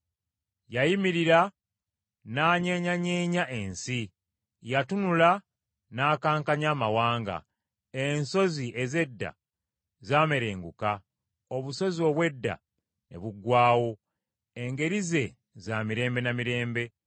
Yayimirira n’anyeenyanyeenya ensi; Yatunula n’akankanya amawanga. Ensozi ez’edda za merenguka, obusozi obw’edda ne buggwaawo. Engeri ze, za mirembe na mirembe.